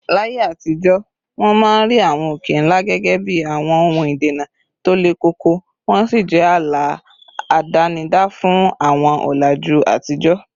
Láyé àtijọ́, wọ́n máa ń rí àwọn òkè ńlá gẹ́gẹ́ bí àwọn ohun ìdènà tó le koko, wọ́n sì jẹ́ ààlà àdánidá fún àwọn ọ̀làjú àtijọ́